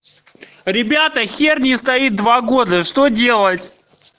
ребята хер не стоит два года что делать